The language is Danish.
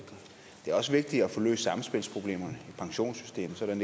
er også vigtigt at få løst samspilsproblemerne pensionssystemet sådan